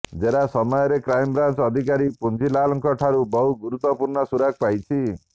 ଜେରା ସମୟରେ କ୍ରାଇମବ୍ରାଞ୍ଚ ଅଧିକାରୀ ପୁଞ୍ଜିଲାଲଙ୍କଠାରୁ ବହୁ ଗୁରୁତ୍ବପୂର୍ଣ୍ଣ ସୁରାକ୍ ପାଇଛି